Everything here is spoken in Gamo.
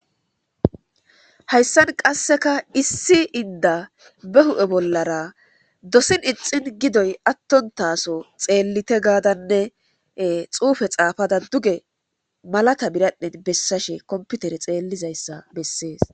Hayssan qasseka issi inda be hu7e bollara dosin ixin gidoy attontaso xeellite gaadanne xuufe xaafada duge malata biradhen bessashe komputere xeellizayssa bessees.